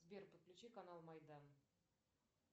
сбер подключи канал майдан